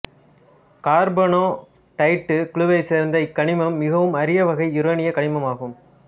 carnotite குழுவைச் சேர்ந்த இக்கனிமம் மிகவும் அரியவகை யுரேனியக் கனிமம் ஆகும்